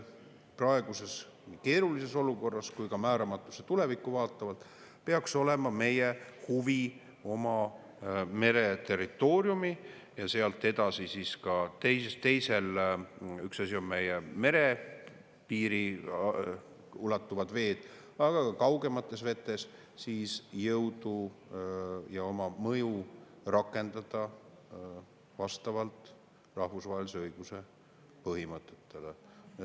Praeguses keerulises olukorras ja ka määramatusse tulevikku vaatavalt peaks meie huvi olema oma mereterritooriumil ja sealt edasi – üks asi on meie merepiirini ulatuvad veed, aga on ka kaugemad veed – oma jõudu ja mõju rakendada vastavalt rahvusvahelise õiguse põhimõtetele.